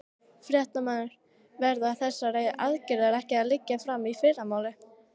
Fréttamaður: Verða þessar aðgerðir ekki að liggja fyrir í fyrramálið?